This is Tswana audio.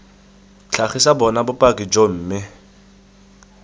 tlhagisa bona bopaki joo mme